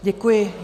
Děkuji.